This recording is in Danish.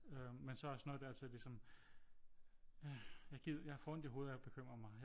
Øh men så er jeg også nået dertil ligesom jeg får ondt i hovedet af at bekymre mig